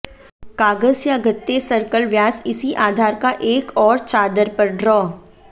कागज या गत्ते सर्कल व्यास इसी आधार का एक और चादर पर ड्रा